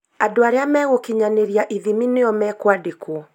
Andũ arĩa megũkinyanĩria ithimi nĩo mekwandĩkwo